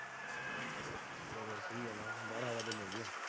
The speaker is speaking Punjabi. ਉਹ ਸਹੀ ਗੱਲ ਆ .